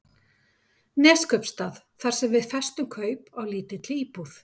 Neskaupstað þar sem við festum kaup á lítilli íbúð.